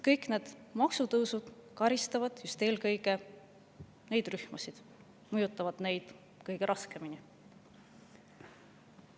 Kõik need maksutõusud karistavad just eelkõige neid rühmasid ja mõjutavad neid kõige raskemini.